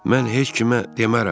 Mən heç kimə demərəm.